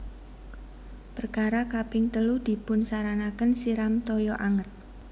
Perkara kaping telu dipunsaranaken siram toyo anget